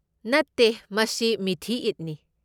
ꯅꯠꯇꯦ! ꯃꯁꯤ ꯃꯤꯊꯤ ꯏꯗꯅꯤ꯫